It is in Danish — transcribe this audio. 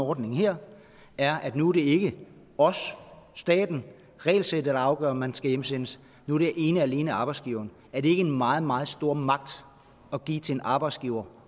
ordningen her er at nu er det ikke os staten regelsættet der afgør om man skal hjemsendes nu er det ene og alene arbejdsgiveren er det ikke en meget meget stor magt at give til en arbejdsgiver